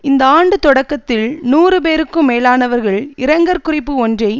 இந்த ஆண்டு தொடக்கத்தில் நூறு பேருக்கும் மேலானவர்கள் இரங்கற் குறிப்பு ஒன்றை